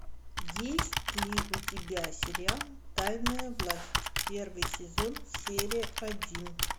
есть ли у тебя сериал тайная власть первый сезон серия один